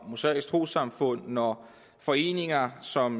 mosaiske troessamfund når foreninger som